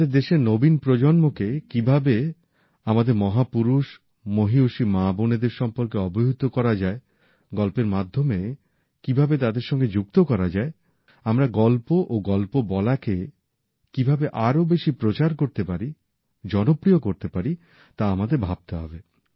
আমাদের দেশের নবীন প্রজন্মকে কীভাবে আমাদের মহাপুরুষ মহীয়সী মা বোনদের সম্পর্কে অবহিত করা যায় গল্পের মাধ্যমে কীভাবে তাদের সাথে যুক্ত করা যায় আমরা গল্প ও গল্প বলাকে কীভাবে আরো বেশি প্রচার করতে পারি জনপ্রিয় করতে পারি তা আমাদের ভাবতে হবে